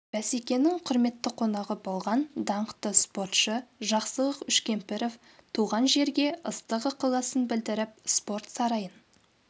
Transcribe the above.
бәсекенің құрметті қонағы болған даңқты спортшы жақсылық үшкемпіров туған жерге ыстық ықыласын білдіріп спорт сарайын